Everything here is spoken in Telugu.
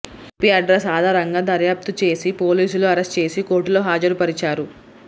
ఐపీ అడ్రస్ ఆధారంగా దర్యాప్తు చేసి పోలీసులు అరెస్ట్ చేసి కోర్టులో హాజరుపరిచారు